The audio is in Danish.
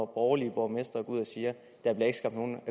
borgerlige borgmestre går ud og siger der bliver ikke skabt nogen